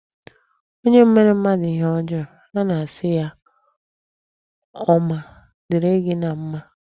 Onye mere mmadụ ihe ọjọọ, a na asị ya ọ ma dịrị gị na mma.